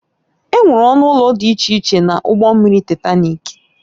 Enwere ọnụ ụlọ dị iche iche na ụgbọ mmiri Taịtanik